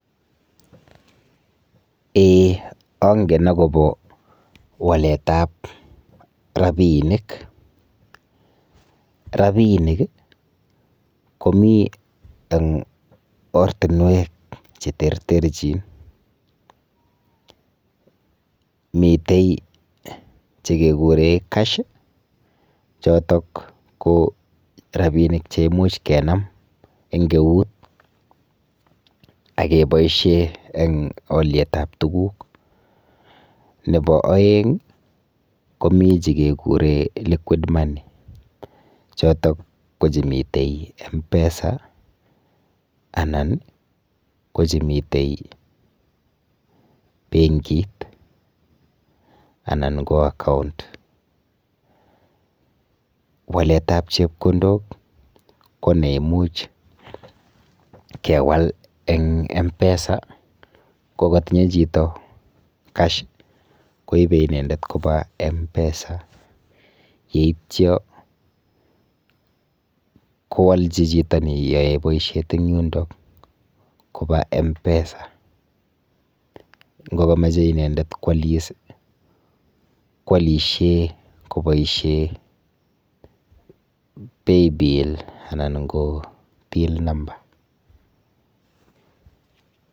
Ee, angen agobo waletab rapinik. Rapinik komiten ortinwek cheterterchin. Mitei chekekuren cash chotok ko rapinik che imuch kenam eng eut ak keboisie eng olyetab tuguk. Nebo aeng, komi che keguren liquid money. Chotok ko chemitei mpesa anan ko chemitei benkit anan ko account. Waletab chepkondok koneimuch kewal eng mpesa kotinye chito cash koibe inendet koba mpesa yeityo kowalchi chito neyoe boisiet eng yundo koba mpesa. Ngokamoche inendet kwalis kwalisie ko kaboisie paybill anan ko till no.